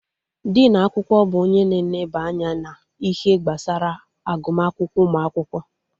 Dinu akwụkwọ bụ onye na-eneba anya na ihe gbasara agụma akwụkwọ ụmụ akwụkwọ